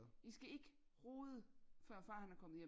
I skal ikke rode før far han er kommet hjem